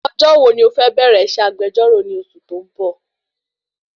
Ọjọ́ wo ni o fẹ bẹ̀rẹ iṣẹ́ agbejọ́rọ̀ ni oṣù tí o nbọ?